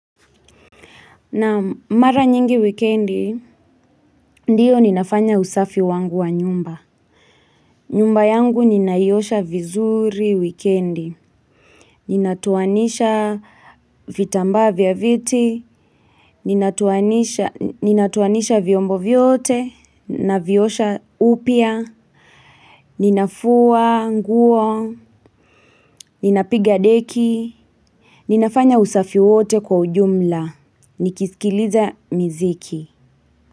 Naam mara nyingi wikendi, ndiyo ninafanya usafi wangu wa nyumba. Nyumba yangu ninaiyosha vizuri wikendi. Ninatoanisha vitambaa vya viti. Ninatoanisha vyombo vyote. Naviosha upia. Ninafua, nguo. Ninapiga deki. Ninafanya usafi wote kwa ujumla. Nikisikiliza miziki.